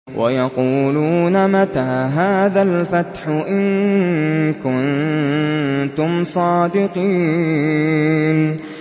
وَيَقُولُونَ مَتَىٰ هَٰذَا الْفَتْحُ إِن كُنتُمْ صَادِقِينَ